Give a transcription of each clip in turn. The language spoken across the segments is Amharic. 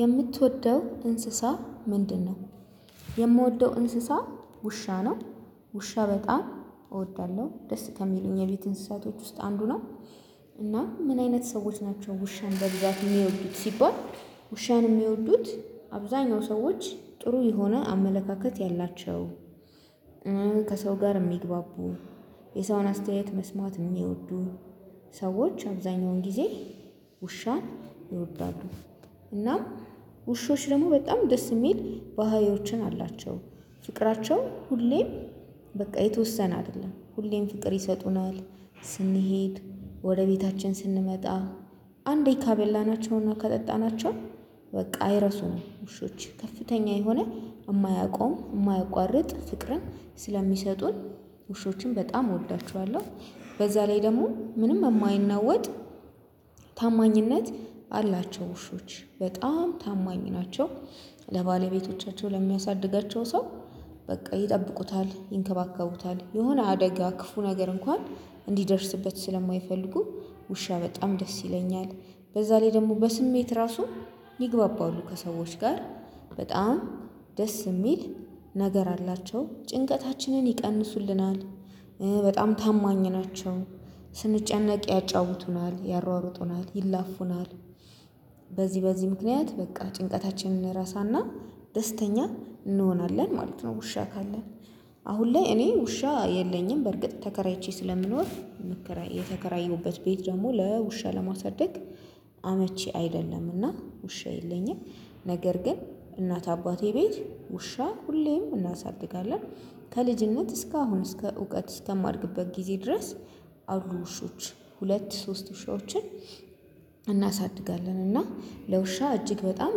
የምትወደው እንስሳ ምንድነው? የምወደው እንስሳ ውሻ ነው። ውሻ በጣም እወዳለሁ ደስ ከሚሉኝ የቤት እንስሳቶች ውስጥ አንዱ ነው። እና ምን አይነት ሰዎች ናቸው ውሻን በብዛት የሚወዱት ሲባል። ውሻን የሚወዱት አብዛኛው ሰዎች ጥሩ የሆነ አመለካከት ያላቸው። ከሰው ጋር የሚግባቡ የሰውን አስተያየት መስማት የሚወዱ ሰዎች አብዛኛውን ጊዜ ውሻን ይወዳሉ። እናም ውሾች ደግሞ በጣም ደስ የሚል ባህሪዮችን አላቸው። ፍቅራቸው ሁሌም በቃ የተወሰነ አይደለም ሁሌም ፍቅር ይሰጡናል። ስንሄድ ወደ ቤታችን ስንመጣ ካበላናቸው ና ካጠጣናቸው በቃ አይረሱም ውሾች ከፍተኛ የሆነ የማያቆም የማያቋርጥ ፍቅርን ስለሚሰጡን ውሾችን በጣም እወዳቸዋለሁ። በዛ ላይ ደግሞ ምንም የማይነወጥ ታማኝነት አላቸው። ውሾች በጣም ታማኝ ናቸው። ለባለቤቶቻቸው ለሚያሳድጋቸው ሰው በቃ ይጠብቁታል ይንከባከቡታል የሆነ አደጋ ክፉ ነገር እንኳን እንዲደርስበት ስለማይፈልጉ። ውሻ በጣም ደስ ይለኛል። በዛ ላይ ደግሞ በስሜት ራሱ ይግባባሉ ከሰዎች ጋር በጣም ደስ የሚል ነገር አላቸው ጭንቀታችንን ይቀንሱልናል። በጣም ታማኝ ናቸው ስንጨነቅ ያጫውቱናል ያሯሩጡናል ይላፉናል። በዚህ በዚህ ምክንያት በቃ ጭንቀታችንን እንረሳና ደስተኛ እንሆናለን ማለት ነው። ውሻ ካለን አሁን ላይ እኔ ውሻ የለኝም በርግጥ ተከራይቼ ስለምኖር። የተከራየሁበት ቤት ደግሞ ለውሻ ለማሳደግ አመቺ አይደለምና ውሻ የለኝም። ነገር ግን እናት አባቴ ቤት ውሻ ሁሌም እናሳድጋለን። ከልጅነት እስካሁን እስከ እውቀት እስከማድግበት ጊዜ ድረስ አሉ ውሾች ሁለት ሶስት ውሾችን። እናሳድጋለን እና ለውሻ እጅግ በጣም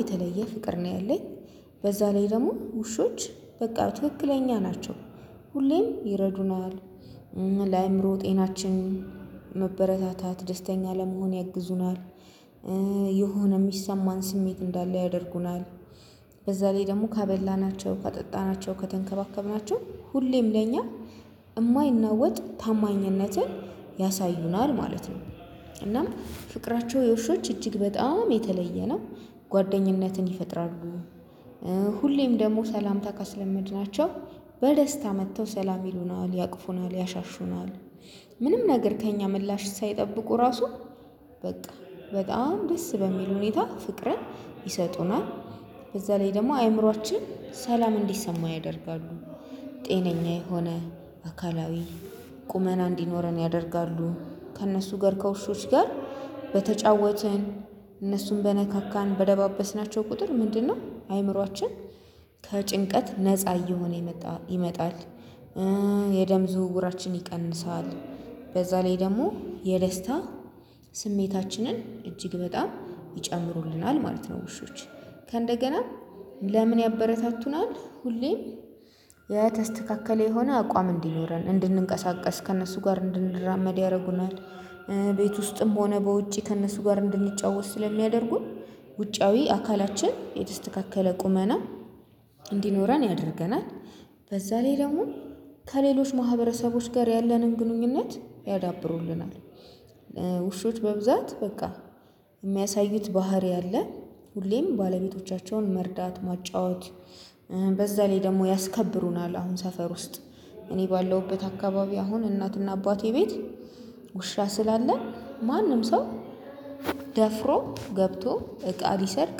የተለየ ፍቅር ነው ያለኝ። በዛ ላይ ደግሞ ውሾች በቃ ትክክለኛ ናቸው ሁሌም ይረዱናል። ለአእምሮ ጤናችን መበረታታት ደስተኛ ለመሆን ያግዙናል። የሆነ የሚሰማን ስሜት እንዳለ ያደርጉናል። በዛ ላይ ደግሞ ካበላናቸው ካጠጣናቸው ከተንከባከብናቸው ሁሌም ለኛ የማይናወጥ ታማኝነትን ማለት ነው። እናም ፍቅራቸው የውሾች እጅግ በጣም የተለየ ነው። ጓደኝነትን ይፈጥራሉ። ሁሌም ደግሞ ሰላምታ ካስለመድናቸው በደስታ መጥተው ሰላም ይሉናል ያቅፉናል ያሻሹናል። ምንም ነገር ከእኛ ምላሽ ሳይጠብቁ ራሱ በቃ በጣም ደስ በሚል ሁኔታ ፍቅርን ይሰጡናል። በዛ ላይ ደግሞ አእምሮአችን ሰላም እንዲሰማው ያደርጋሉ። ጤነኛ የሆነ አካላዊ ቁመና እንዲኖረን ያደርጋሉ። ከእነሱ ጋር ከውሾች ጋር በተጫወትን እነሱን በነካካን በደባበስናቸው ቁጥር ምንድነው አእምሮአችን ከጭንቀት ነፃ እየሆነ የመጣ ይመጣል? የደም ዝውውራችን ይቀንሳል። በዛ ላይ ደግሞ የደስታ ስሜታችንን እጅግ በጣም ይጨምሩልናል ማለት ነው። ውሾች ከእንደገናም ለምን? ያበረታቱናል ሁሌም የተስተካከለ የሆነ አቋም እንዲኖረን እንድንቀሳቀስ ከእነሱ ጋር እንድንድራመድ ያደርጉናል። ቤት ውስጥም ሆነ በውጪ ከእነሱ ጋር እንድንጫወት ስለሚያደርጉን ውጫዊ አካላችን የተስተካከለ ቁመና እንዲኖረን ያደርገናል። በዛ ላይ ደግሞ ከሌሎች ማህበረሰቦች ጋር ያለንን ግንኙነት ያዳብሩልናል። ውሾች በብዛት በቃ የሚያሳዩት ባህሪ አለ። ሁሌም ባለቤቶቻቸውን መርዳት ማጫወት በዛ ላይ ደግሞ ያስከብሩናል አሁን ሰፈር ውስጥ እኔ ባለውበት አካባቢ አሁን እናትና አባቴ ቤት ስላለ ማንም ሰው ደፍሮ ገብቶ እቃ ሊሰርቅ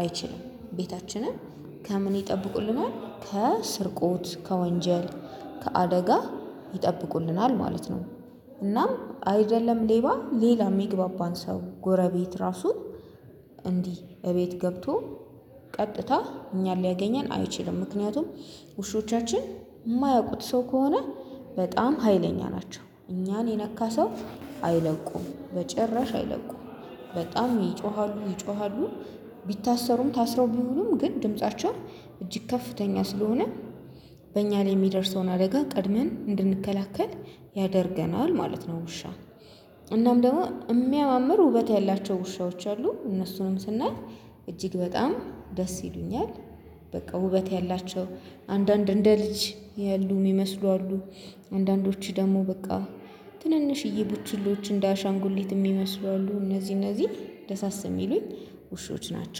አይችልም። ቤታችንን ከምን ይጠብቁልናል ከስርቆት ከወንጀል ከአደጋ ይጠብቁልናል ማለት ነው። እናም አይደለም ሌባ ሌላ የሚግባባን ሰው ጎረቤት ራሱ እንዲህ እቤት ገብቶ ቀጥታ እኛን ሊያገኘን አይችልም። ምክንያቱም ውሾቻችን የማያውቁት ሰው ከሆነ በጣም ሀይለኛ ናቸው። እኛን የነካ ሰው አይለቁም በጭራሽ አይለቁም። በጣም ይጮሃሉ ይጮሃሉ። ቢታሰሩም ታስረው ቢውሉም ግን ድምፃቸው እጅግ ከፍተኛ ስለሆነ። በእኛ ላይ የሚደርሰውን አደጋ ቀድመን እንድንከላከል ያደርገናል ማለት ነው። ውሻ እናም ደግሞ የሚያማምር ውበት ያላቸው ውሻዎች አሉ እነሱንም ስናይ እጅግ በጣም ደስ ይሉኛል። በቃ ውበት ያላቸው አንዳድ እንደ ልጅ ያሉ ይመስሉ አሉ። አንዳንዶቹ ደግሞ በቃ ትንንሽዬ ቡቺሎች እንደ አሻንጉሊት የሚመስሉ አሉ እነዚህ እነዚህ ደሳስ የሚሉኝ ውሾች ናቸው